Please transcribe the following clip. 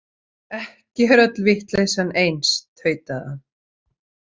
Ekki er öll vitleysan eins, tautaði hann.